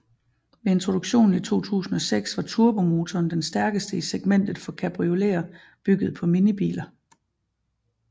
Ved introduktionen i 2006 var turbomotoren den stærkeste i segmentet for cabrioleter bygget på minibiler